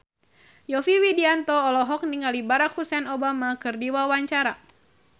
Yovie Widianto olohok ningali Barack Hussein Obama keur diwawancara